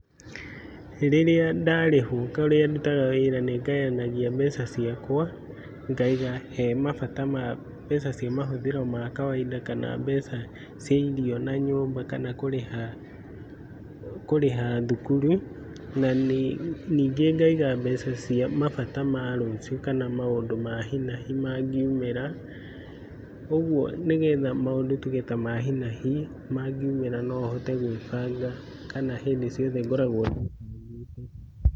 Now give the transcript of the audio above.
Rĩrĩa ndarĩhwo kũrĩa ndutaga wĩra nĩngayanagia mbeca ciakwa ngaiga hemabata mbeca cia mahũthĩro ma kawainda kana mbeca cia irio na nyũmba kana kũrĩha thukuru. Na nyingĩ ngaiga mbeca cia mabata ma rũciũ kana maũndũ ma hi na hi mangĩumĩra . Kuogwo nĩgetha maũndũ ta ma hinahi mangĩumĩra nohote gwĩbanga kana hĩndĩ ciothe ngoragwo ndĩbangĩte.